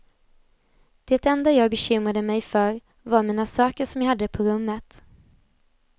Det enda jag bekymrade mig för var mina saker som jag hade på rummet.